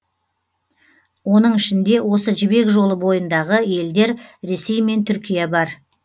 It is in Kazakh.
оның ішінде осы жібек жолы бойындағы елдер ресей мен түркия бар